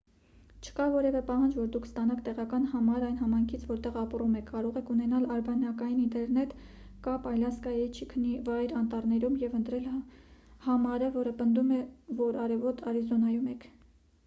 չկա որևէ պահանջ որ դուք ստանաք տեղական համար այն համայնքից որտեղ ապրում եք կարող եք ունենալ արբանյակային ինտերնետ կապ ալյասկայի չիքընի վայրի անտառներում և ընտրել համարը որը պնդում է որ արևոտ արիզոնայում եք